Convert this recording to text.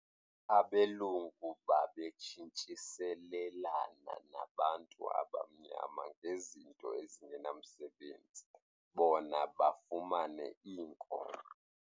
Abelungu babetshintshiselelana nabantu abamnyama ngezinto ezingenamsebenzi bona bafumane iinkomo.